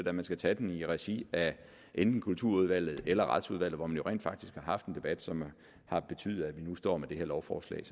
at man skal tage den i regi af enten kulturudvalget eller retsudvalget hvor man jo rent faktisk har haft en debat som har betydet at vi nu står med det her lovforslag